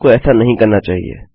आपको ऐसा नहीं करना चाहिए